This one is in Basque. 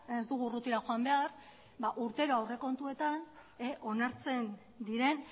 ez dugu urrutira joan behar urtero aurrekontuetan onartzen diren